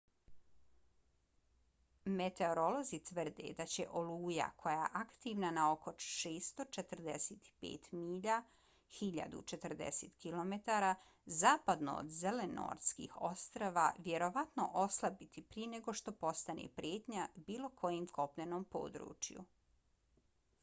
meteorolozi tvrde da će oluja koja je aktivna na oko 645 milja 1040 km zapadno od zelenortskih ostrva vjerovatno oslabiti prije nego što postane prijetnja bilo kojem kopnenom području